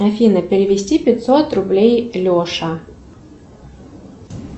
афина перевести пятьсот рублей леша